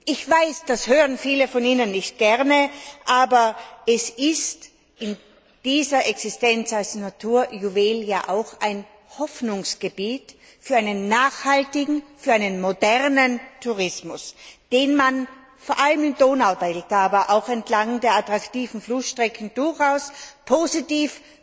Ich weiß, das hören viele von Ihnen nicht gerne, aber es ist in dieser Existenz als Naturjuwel ja auch ein Hoffnungsgebiet für einen nachhaltigen und modernen Tourismus, den man vor allem im Donaudelta, aber auch entlang der attraktiven Flussstrecken durchaus positiv